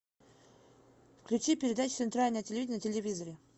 включи передачу центральное телевидение на телевизоре